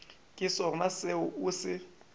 ke sona seo o se